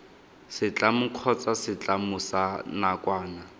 setlamo kgotsa setlamo sa nakwana